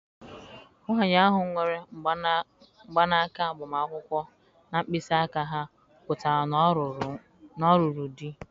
Nwanyị ahụ nwere mgbanaka agbamakwụkwọ na mkpịsị aka ha pụtara na ọ lụrụ.